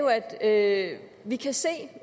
jo at vi kan se at